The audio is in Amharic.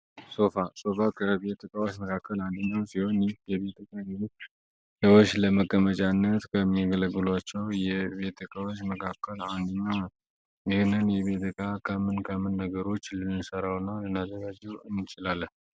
ሶፋ ከቤት ዕቃዎች መካከል አንዱ የሆነ እና ደግሞ ለተለያዩ ለመቀመጫ ከምንገለገለባቸው የቤት እቃዋች ውስጥ አንዱ ነው። ይህን የቤት ዕቃ ከምን ነገሮችን ልንሰራውና ልናዘጋጀው እንችላለን?